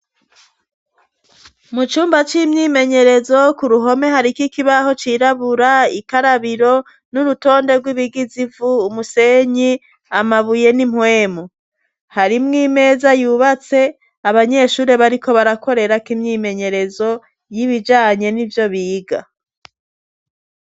Mu cumba c'imyimenyerezo ku ruhome hariko ikibaho cirabura, ikarabiro, n'urutonde rw'ibigize ivu, umusenyi, amabuye, n'impwemu, harimwo imeza yubatse, abanyeshure bariko barakorerako imyimenyerezo, y'ibijanye n'ivyo biga.